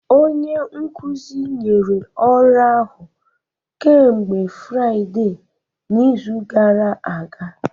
Onye nkuzi nyere ọrụ ahụ kemgbe Fraịde n'izu gara aga